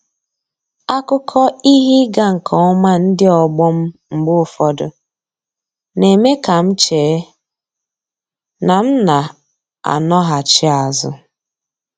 Akụkọ ihe ịga nke ọma ndị ọgbọ m mgbe ụfọdụ, na-eme ka m chee na m n'anọghachi azụ.